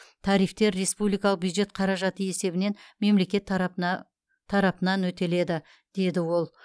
тарифтер республикалық бюджет қаражаты есебінен мемлекет тарапынан өтеледі деді ол